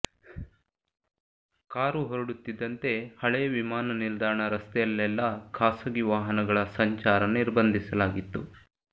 car ಹೊರಡುತ್ತಿದ್ದಂತೆ ಹಳೇ ವಿಮಾನ ನಿಲ್ದಾಣ ರಸ್ತೆಯಲ್ಲೆಲ್ಲಾ ಖಾಸಗಿ ವಾಹನಗಳ ಸಂಚಾರ ನಿರ್ಬಂಧಿಸಲಾಗಿತ್ತು